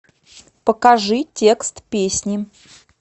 покажи текст песни